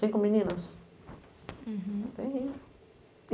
Cinco meninas? Uhum.